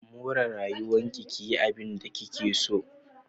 More rayuwarki ki yi abinda kike so.